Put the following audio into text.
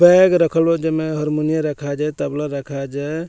Bag रखल हो जे मे हारमुनियम रखल जै तबला रखल जै।